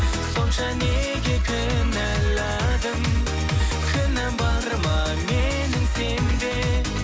сонша неге кінәладың кінәм бар ма менің сенде